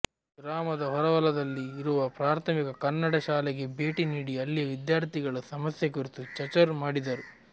ಗ್ರಾಮದ ಹೊರವಲದಲ್ಲಿ ಇರುವ ಪ್ರಾಥಮಿಕ ಕನ್ನಡ ಶಾಲೆಗೆ ಭೆಟ್ಟಿ ನೀಡಿ ಅಲ್ಲಿಯ ವಿದ್ಯಾರ್ಥಿಗಳ ಸಮಸ್ಯೆ ಕುರಿತು ಚಚರ್ೆ ಮಾಡಿದರು